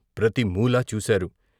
ప్రతి మూలా చూశారు.